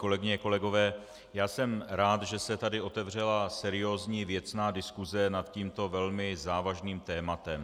Kolegyně, kolegové, já jsem rád, že se tady otevřela seriózní, věcná diskuse nad tímto velmi závažným tématem.